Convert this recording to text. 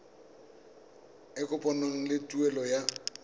e kopanngwang le tuelo ya